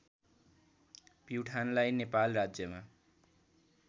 प्युठानलाई नेपाल राज्यमा